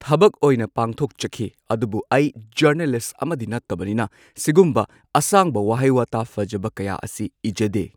ꯊꯕꯛ ꯑꯣꯏꯅ ꯄꯥꯡꯊꯣꯛꯆꯈꯤ ꯑꯗꯨꯕꯨ ꯑꯩ ꯖꯔꯅꯦꯂꯤꯁ ꯑꯃꯗꯤ ꯅꯠꯇꯕꯅꯤꯅ ꯁꯤꯒꯨꯝꯕ ꯑꯁꯥꯡꯕ ꯋꯥꯍꯩ ꯋꯥꯇꯥ ꯐꯖꯕ ꯀꯌꯥ ꯑꯁꯤ ꯏꯖꯗꯦ꯫